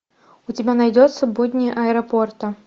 у тебя найдется будни аэропорта